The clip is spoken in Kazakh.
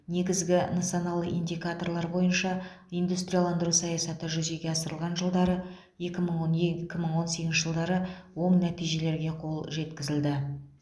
негізгі нысаналы индикаторлар бойынша индустрияландыру саясаты жүзеге асырылған жылдары екі мың он екі мың он сегізінші жылдары оң нәтижелерге қол жеткізілді